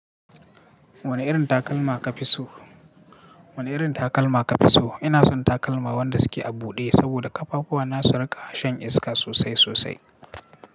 Wani irin takalma kafiso? Wani irin takalma kafiso? Ina son takalma wanda suke a buɗe, saboda ƙafafuwana su riƙa shan iska sosai sosai.